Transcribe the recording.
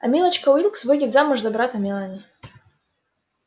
а милочка уилкс выйдет замуж за брата мелани